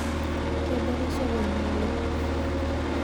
Kobore sokoni oleng